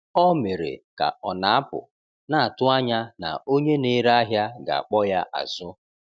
Ọ mere ka ọ na-apụ, na-atụ anya na onye na-ere ahịa ga-akpọ ya azụ.